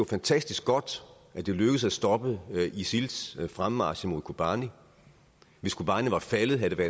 fantastisk godt at det lykkedes at stoppe isils fremmarch mod kobani hvis kobani var faldet havde det